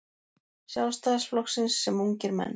Sjálfstæðisflokksins sem ungir menn.